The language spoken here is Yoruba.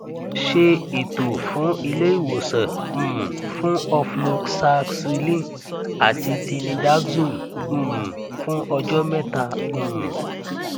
ṣe ètò fun iléìwòsàn um fún ofloxacilin àti tinidazole um fún ọjọ mẹta um